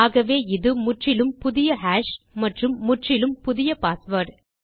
ஆகவே இது முற்றிலும் புதிய ஹாஷ் மற்றும் முற்றிலும் புதிய பாஸ்வேர்ட்